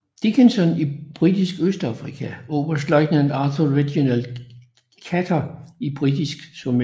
Dickinson i Britisk Østafrika og oberstløjtnant Arthur Reginald Chater i Britisk Somaliland